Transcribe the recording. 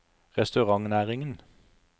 restaurantnæringen